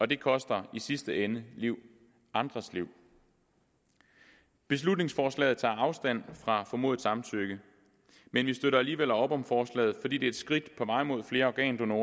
det koster i sidste ende liv andres liv beslutningsforslaget tager afstand fra formodet samtykke men vi støtter alligevel op om forslaget fordi det er et skridt på vej mod flere organdonorer